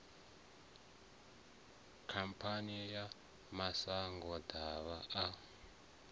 khamphani ya mashango ḓavha a